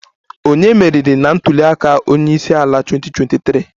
Ònye meriri na ntuli aka onye isi ala 2023?